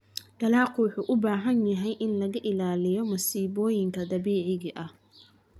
Dalaggu wuxuu u baahan yahay in laga ilaaliyo masiibooyinka dabiiciga ah.